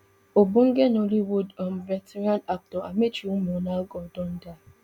ogbonge nollywood um veteran actor amaechi muonagor don die